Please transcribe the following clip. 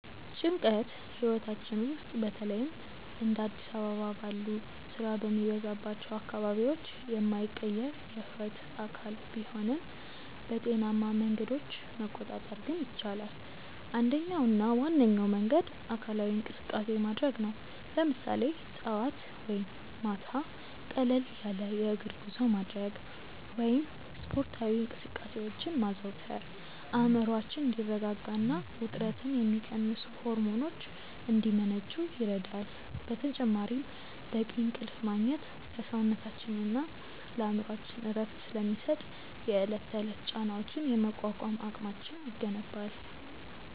ጭንቀት ህይወታችን ውስጥ በተለይም እንደ አዲስ አበባ ባሉ ስራ በሚበዛባቸው አካባቢዎች የማይቀር የህይወት አካል ቢሆንም፣ በጤናማ መንገዶች መቆጣጠር ግን ይቻላል። አንደኛውና ዋነኛው መንገድ አካላዊ እንቅስቃሴ ማድረግ ነው፤ ለምሳሌ ጠዋት ወይም ማታ ቀለል ያለ የእግር ጉዞ ማድረግ ወይም ስፖርታዊ እንቅስቃሴዎችን ማዘውተር አእምሮአችን እንዲረጋጋና ውጥረትን የሚቀንሱ ሆርሞኖች እንዲመነጩ ይረዳል። በተጨማሪም በቂ እንቅልፍ ማግኘት ለሰውነታችንና ለአእምሮአችን እረፍት ስለሚሰጥ፣ የዕለት ተዕለት ጫናዎችን የመቋቋም አቅማችንን ይገነባል።